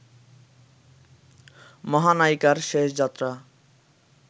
মহানায়িকার শেষ যাত্রা